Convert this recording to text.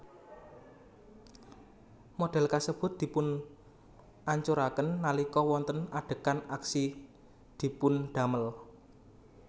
Modèl kasebut dipunancuraken nalika wonten adegan aksi dipundamel